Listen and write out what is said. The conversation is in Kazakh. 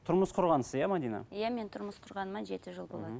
тұрмыс құрғансыз иә мәдина иә мен тұрмыс құрғаныма жеті жыл болады мхм